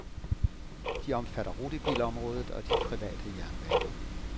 De omfatter rutebilområdet og de private jernbaner.